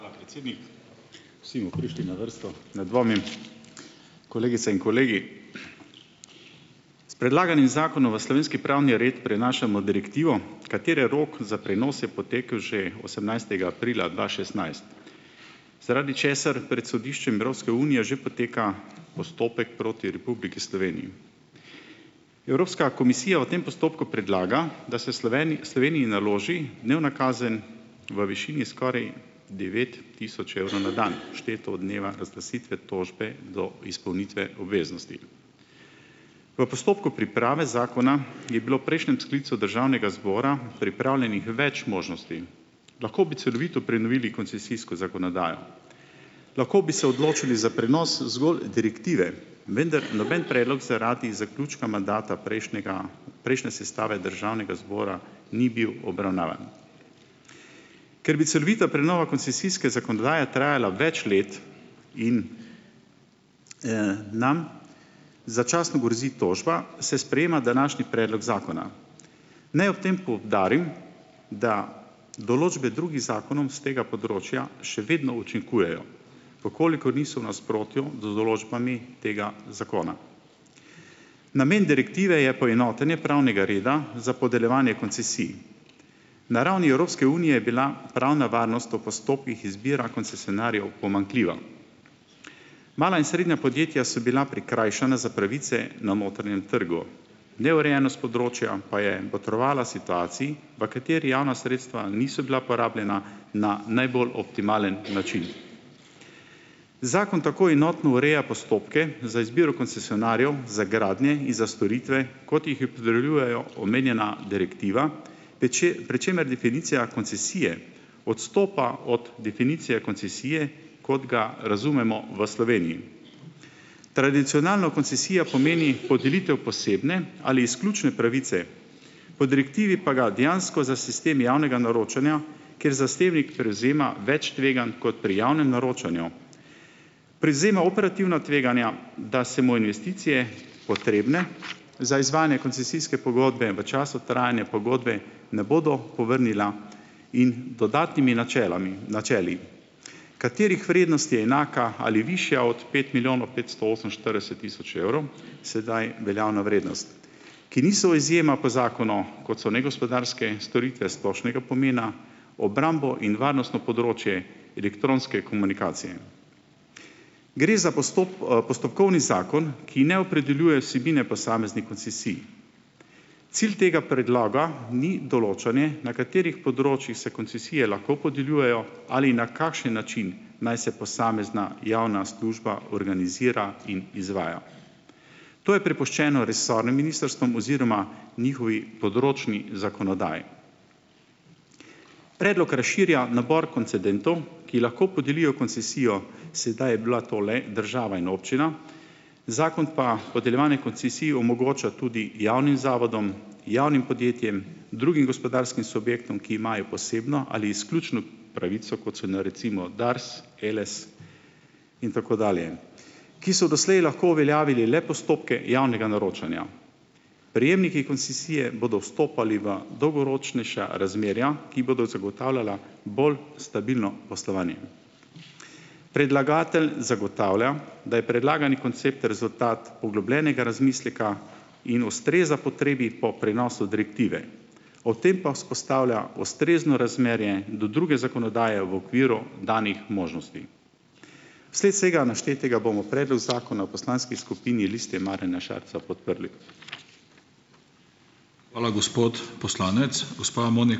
a, predsednik. Vsi bomo prišli na vrsto, ne dvomim. Kolegice in kolegi! S predlaganim zakonom v slovenski pravni red prenašamo direktivo, katere rok za prenos je potekel že osemnajstega aprila dva šestnajst, zaradi česar pred sodiščem Evropske unije že poteka postopek proti Republiki Sloveniji. Evropska komisija v tem postopku predlagam, da se Sloveniji naloži dnevna kazen v višini skoraj devet tisoč evrov na dan, šteto od dneva razglasitve tožbe do izpolnitve obveznosti. V postopku priprave zakona je bilo v prejšnjem sklicu državnega zbora pripravljenih več možnosti: lahko bi celovito prenovili koncesijsko zakonodajo; lahko bi se odločili za prenos zgolj direktive, vendar noben predlog zaradi zaključka mandata prejšnjega prejšnje sestave državnega zbora ni bil obravnavan. Ker bi celovita prenova koncesijske zakonodaje trajala več let in, nam začasno grozi tožba, se sprejema današnji predlog zakona. Naj ob tem poudarim, da določbe drugih zakonom s tega področja še vedno učinkujejo, v kolikor niso v nasprotju z določbami tega zakona. Namen direktive je poenotenje pravnega reda za podeljevanje koncesij. Na ravni Evropske unije je bila pravna varnost o postopkih izbire koncesionarjev pomanjkljiva. Mala in srednja podjetja so bila prikrajšana za pravice. Neurejenost področja pa je botrovala situaciji, v kateri javna sredstva niso bila porabljena na najbolj optimalen način. Zakon tako enotno ureja postopke za izbiro koncesionarjev, za gradnje in za storitve, omenjena direktiva, pri čemer definicija koncesije odstopa od definicije koncesije, kot ga razumemo v Sloveniji. Tradicionalno koncesija pomeni podelitev posebne ali izključne pravice, po direktivi pa ga dejansko za sistem javnega naročanja, kjer zasebnik prevzema več tveganj kot pri javnem naročanju. Privzema operativna tveganja, da se mu investicije, potrebne za izvajanje koncesijske pogodbe v času trajanja pogodbe ne bodo povrnila in dodatnimi načelami načeli, katerih vrednost je enaka ali višja od pet milijonov petsto oseminštirideset tisoč evrov, sedaj veljavna vrednost. Ki niso izjema po zakonu, kot so negospodarske storitve splošnega pomena, obrambo in varnostno področje, elektronske komunikacije. Gre za postopkovni zakon, ki ne opredeljuje vsebine posameznih koncesij. Cilj tega predloga, ni določanje na katerih področjih se koncesije lahko podeljujejo ali na kakšen način naj se posamezna javna služba organizira in izvaja. To je prepuščeno resornim ministrstvom oziroma njihovi področni zakonodaji. Predlog razširja nabor koncedentov, ki lahko podelijo koncesijo. Sedaj je bila to le država in občina, zakon pa podeljevanje koncesij omogoča tudi javnim zavodom, javnim podjetjem, drugim gospodarskim subjektom, ki imajo posebno ali izključno pravico, kot so recimo Dars, Eles in tako dalje, ki so doslej lahko uveljavili le postopke javnega naročanja. Prejemniki koncesije bodo vstopali v dolgoročnejša razmerja, ki bodo zagotavljala bolj stabilno poslovanje. Predlagatelj zagotavlja, da je predlagani koncept rezultat poglobljenega razmisleka in ustreza potrebi po prenosu direktive. O tem pa vzpostavlja ustrezno razmerje do druge zakonodaje v okviru danih možnosti. Vsled vsega naštetega bomo predlog zakona v poslanski skupini Liste Marjana Šarca podprli. Hvala, gospod poslanec. Gospa ...